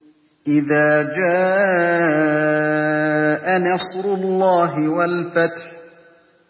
إِذَا جَاءَ نَصْرُ اللَّهِ وَالْفَتْحُ